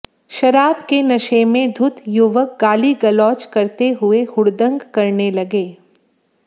शराब के नशे में धुत युवक गाली गलौज करते हुए हुड़दंग करने लगे